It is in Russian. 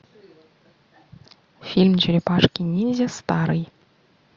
фильм черепашки ниндзя старый